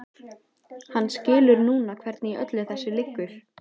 Hann skilur núna hvernig í öllu þessu liggur.